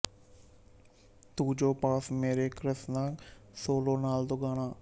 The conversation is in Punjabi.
ਤੂੰ ਜੋ ਪਾਸ ਮੇਰੇ ਕ੍ਰਸਨਾ ਸੋਲੋ ਨਾਲ ਦੋਗਾਣਾ